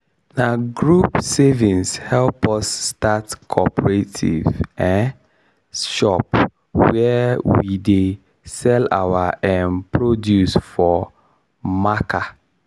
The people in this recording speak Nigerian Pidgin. na group savings help us start cooperative um shop where we dey sell our um produce for marker.